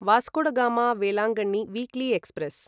Vasco da Gama Velankanni weekly express